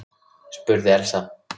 spurði Elsa.